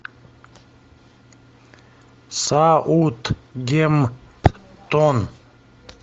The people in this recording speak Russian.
саутгемптон